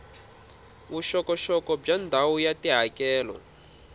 vuxokoxoko bya ndhawu ya tihakelo